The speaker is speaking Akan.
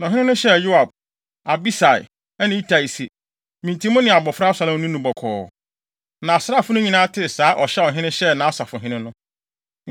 Na ɔhene no hyɛɛ Yoab, Abisai ne Itai se, “Me nti mo ne abofra Absalom nni no bɔkɔɔ.” Na asraafo no nyinaa tee saa ɔhyɛ a ɔhene hyɛɛ nʼasafohene no.